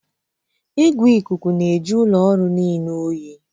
Igwe ikuku na-ajụ ụlọ ọrụ niile oyi